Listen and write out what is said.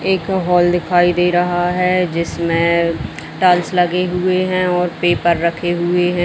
एक हॉल दिखाई दे रहा है जिसमें टाइल्स लगे हुए हैं और पेपर रखे हुए हैं।